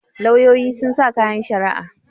lauyoyi sun sa kayan shari'a